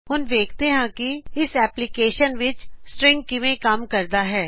ਹੁਣ ਦੇਖਦੇ ਹਾਂ ਕਿ ਇਸ ਐਪਲਿਕੇਸ਼ਨ ਵਿੱਚ ਸਟ੍ਰੀਂਗ ਕਿਵੇ ਕੰਮ ਕਰਦਾ ਹੈ